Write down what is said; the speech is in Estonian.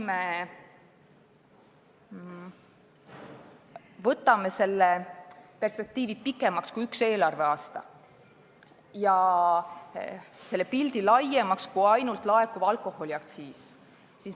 Vaatame pikemat perspektiivi kui üks eelarveaasta ja laiemat pilti kui ainult laekuv alkoholiaktsiis!